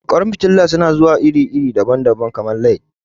Ƙwan fitila su na zuwa iri daban-daban, kamar LED.